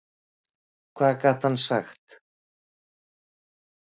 Hvað gat hann sagt?